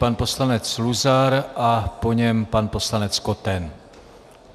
Pan poslanec Luzar a po něm pan poslanec Koten.